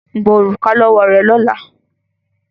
Gba òrùka lọ́wọ́ rẹ̀ lọ́la!